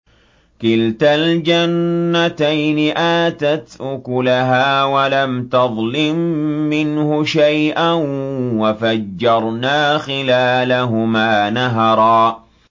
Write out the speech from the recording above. كِلْتَا الْجَنَّتَيْنِ آتَتْ أُكُلَهَا وَلَمْ تَظْلِم مِّنْهُ شَيْئًا ۚ وَفَجَّرْنَا خِلَالَهُمَا نَهَرًا